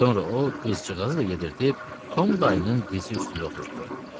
Sonra o qızcığazı da yedirdib, Tom dayının dizi üstündə oturtdurdu.